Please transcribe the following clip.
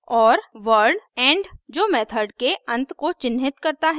और word end end जो method के अंत को चिन्हित करता है